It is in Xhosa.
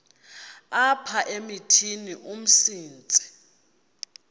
apha emithini umsintsi